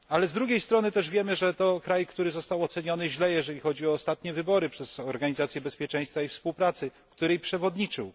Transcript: Ale z drugiej strony, wiemy też, że to kraj, który został źle oceniony, jeżeli chodzi o ostanie wybory przez Organizację Bezpieczeństwa i Współpracy, której przewodniczył.